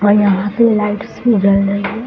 और यहाँ पे लाइट्स भी जल रही है।